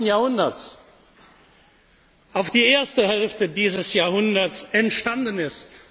des 20. Jahrhunderts auf die erste Hälfte dieses Jahrhunderts entstanden